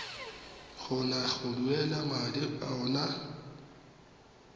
kgona go duela madi ao